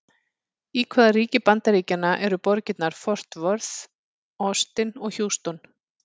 Í hvaða ríki Bandaríkjanna eru borgirnar Fort Worth, Austin og Houston?